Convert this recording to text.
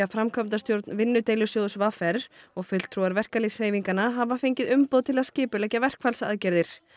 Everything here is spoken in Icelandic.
framkvæmdastjórn vinnudeilusjóðs v r og fulltrúar verkalýðshreyfinganna hafa fengið umboð til að skipuleggja verkfallsaðgerðir